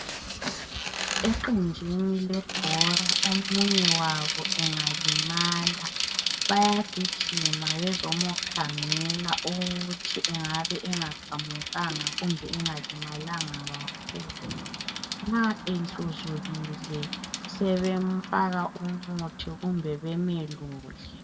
Eqenjini lebhora omunye wabo engalimala bayagijima bezomkhangela ukuthi engabe engaqamukanga kumbe engalimalanga kakhulu. Nxa ehluzukile sebemfaka umuthi kumbe bemelule.